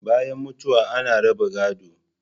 Bayan mutuwa ana raba gado